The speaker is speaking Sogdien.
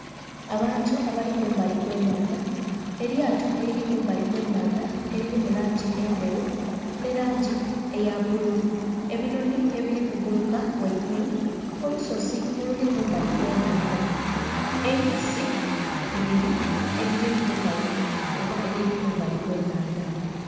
Abantu abali kumbali kw'ennhandha, elyato eliri kumbali kw'ennhandha eliri mu langi endheru nh'elangi eya bbululu, ebinhonhi ebiri ku kuguluka ghaigulu, olusozi oluli kumbali kw'ennhandha, enkasi ibiri edhiri ku bukalu oba edhiri kumbali kw'ennhandha.